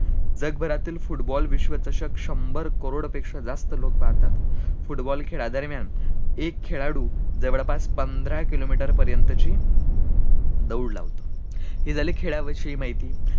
जगभरातील football विश्वचषक शंभर करोड पेक्षा जास्त लोक पाहतात, football खेळादरम्यान एक खेळाळू जवळपास पंधरा किलोमीटर पर्यंत ची दौड लावतो हि झाली खेळा विषयी ची माहिती